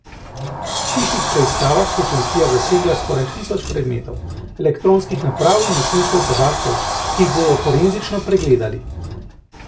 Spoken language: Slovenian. V hišnih preiskavah je policija zasegla skoraj tisoč predmetov, elektronskih naprav in nosilcev podatkov, ki jih bodo forenzično pregledali.